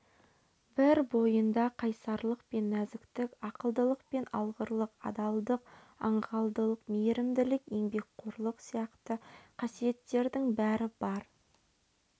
бір бойында қайсарлық пен нәзіктік ақылдылық пен алғырлық адалдық аңғалдық мейірімділік еңбекқорлық сияқты қасиеттердің бәрі бар